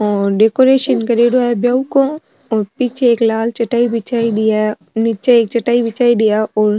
और डेकोरेशन करियोडो है ब्याव को और पीछे एक लाल चटाई बिछाईडी है निचे एक चटाई बिछाईडी है और --